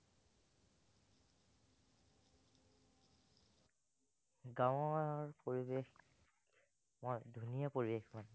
গাঁৱৰ পৰিবেশ বৰ ধুনীয়া পৰিবেশ